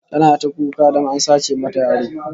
Tana ta kuka don a sace mata yaro